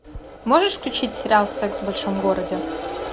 можешь включить сериал секс в большом городе